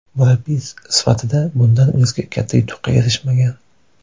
Murabbiy sifatida bundan o‘zga katta yutuqqa erishmagan.